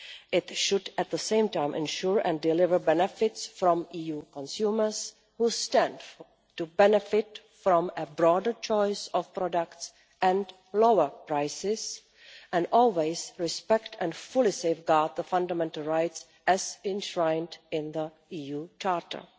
It should at the same time ensure and deliver benefits from EU consumers who stand to benefit from a broader choice of products and lower prices, and always respect and fully safeguard the fundamental rights enshrined in the EU Charter.